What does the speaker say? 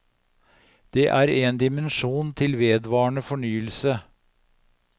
Det er en dimensjon til vedvarende fornyelse.